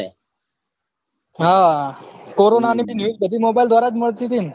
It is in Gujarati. હા કોરોનાની બી news બધી mobile દ્વારા મળતી હતી